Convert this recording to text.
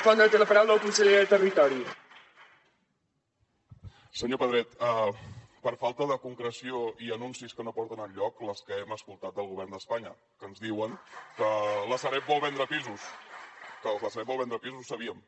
senyor pedret per a falta de concreció i anuncis que no porten enlloc les que hem escoltat del govern d’espanya que ens diuen que la sareb vol vendre pisos que la sareb vol vendre pisos ho sabíem